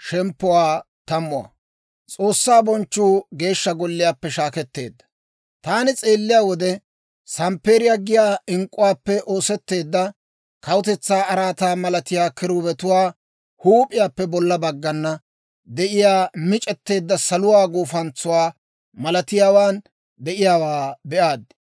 Taani s'eelliyaa wode samppeeriyaa giyaa ink'k'uwaappe oosetteedda kawutetsaa araataa malatiyaa kiruubetuwaa huup'iyaappe bolla baggana de'iyaa mic'etteedda saluwaa guufantsuwaa malatiyaawaan de'iyaawaa be'aad.